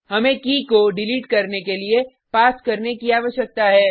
हमें की को डिलीट करने के लिए पास करने की आवश्यकता है